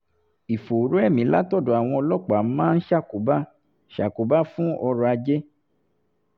ìfòòró ẹ̀mí látọ̀dọ̀ àwọn ọlọ́pàá máa ń ṣàkóbá ṣàkóbá fún ọrọ̀ ajé